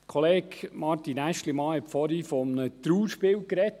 Kollege Martin Aeschlimann sprach vorhin von einem Trauerspiel.